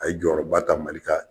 A ye jɔyɔrɔba ta Mali ka